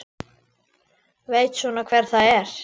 Veit svona hver það er.